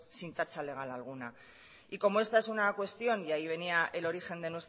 sin tacha legal alguna y como esta es una cuestión y ahí venía el origen